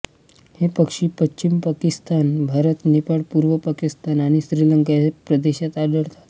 हे पक्षी पश्चिम पाकिस्तान भारत नेपाळ पूर्व पाकिस्तान आणि श्रीलंका या प्रदेशात आढळतात